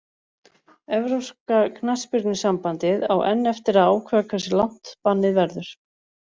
Evrópska knattspyrnusambandið á enn eftir að ákveða hversu langt bannið verður.